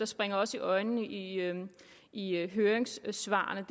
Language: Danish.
springer os i øjnene i i høringssvarene